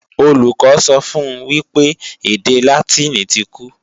Olùkọ́ sọ fun wípé èdè Látìnì ti kú